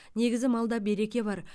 негізі малда береке бар